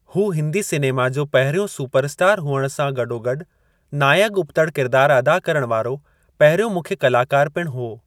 हू हिंदी सिनेमा जो पहिरियों सुपरस्टारु हुअण सां गॾोगॾु नायकु-उबतड़ि किरिदार अदा करण वारो पहिरियों मुख्यु कलाकारु पिणु हो।